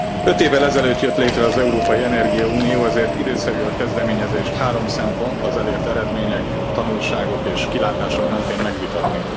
Öt évvel ezelőtt jött létre az európai energiaunió, ezért időszerű a kezdeményezést három szempont az elért eredmények, tanulságok és kilátások mentén megvitatni.